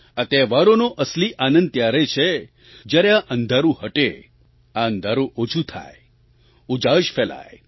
આ તહેવારોનો અસલી આનંદ ત્યારે છે જ્યારે આ અંધારું હટે આ અંધારું ઓછું થાય ઉજાશ ફેલાય